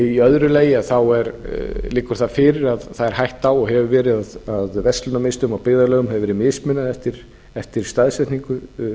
í öðru lagi liggur það fyrir að það er hætta á og hefur verið að verslunarmiðstöðvum og byggðarlögum hefur verið mismunað eftir staðsetningu